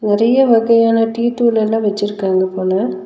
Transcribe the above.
நெறைய வகையான டீ தூள் எல்லா வெச்சிருக்காங்க போல.